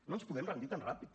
no ens podem rendir tan ràpid